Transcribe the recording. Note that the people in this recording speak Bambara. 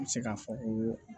N bɛ se k'a fɔ ko